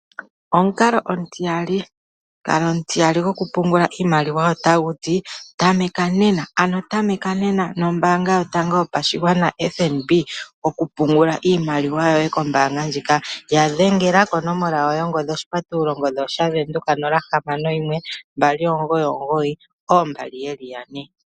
Omukalo omutiyali, omukalo omutiyali gokupungula iimaliwa otagu ti tameka nena, ano tameka nena nombaanga yotango yopashigwana FNB okupungula iimaliwa yoye kombaanga ndjika. Ya dhengela konomola yongodhi 061 299 2222.